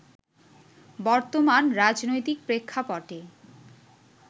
বর্তমান রাজনৈতিক প্রেক্ষাপটে